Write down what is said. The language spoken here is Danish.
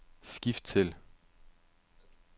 skift til